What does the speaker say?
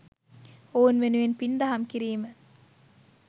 ඔවුන් වෙනුවෙන් පින් දහම් කිරීම.